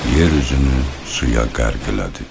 Yer üzünü suya qərq elədi.